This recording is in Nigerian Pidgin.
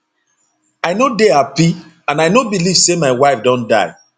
i no dey happy and i no believe say my wife don die